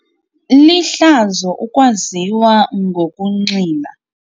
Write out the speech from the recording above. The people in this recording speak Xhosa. Lihlazo ukwaziwa ngokunxila.